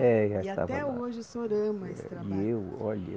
É, já estava lá. E até hoje o senhor ama esse trabalho. E eu, olha